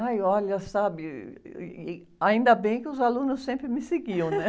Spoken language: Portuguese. Ai, olha, sabe, ainda bem que os alunos sempre me seguiam, né?